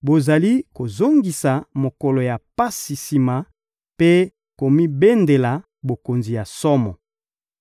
Bozali kozongisa mokolo ya pasi sima mpe komibendela bokonzi ya somo.